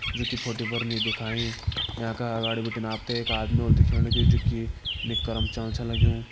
जोकि फोटो पर नी दिखाईं यांका अगाड़ी बिटिन आप त एक आदमी होलु दिखेण लग्युं जोकि निकर मा चलण छ लग्युं।